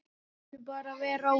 Við skulum bara vera róleg.